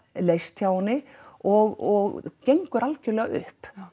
leyst hjá henni og gengur algjörlega upp